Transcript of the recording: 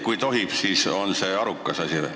Kui tohib, siis kas see on arukas asi?